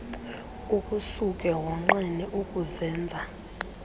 kukusuke wonqene ukuzenza